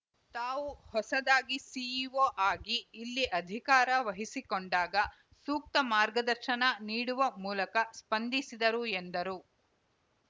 ತಾವು ಹೊಸದಾಗಿ ಸಿಇಓ ಆಗಿ ಇಲ್ಲಿ ಅಧಿಕಾರ ವಹಿಸಿಕೊಂಡಾಗ ಸೂಕ್ತ ಮಾರ್ಗದರ್ಶನ ನೀಡುವ ಮೂಲಕ ಸ್ಪಂದಿಸಿದರು ಎಂದರು